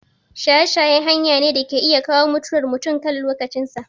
Shaye shaye hanya ne da ke iya kawo mutuwar mutum kan lokacin sa